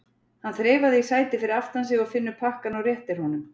Hann þreifar í sætið fyrir aftan sig og finnur pakkann og réttir honum.